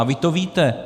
A vy to víte.